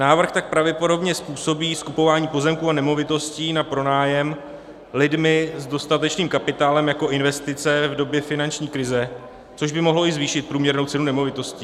Návrh tak pravděpodobně způsobí skupování pozemků a nemovitostí na pronájem lidmi s dostatečným kapitálem jako investice v době finanční krize, což by mohlo i zvýšit průměrnou cenu nemovitostí.